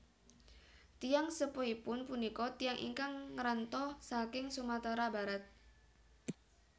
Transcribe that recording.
Tiyang sepuhipun punika tiyang ingkang ngranto saking Sumatera Barat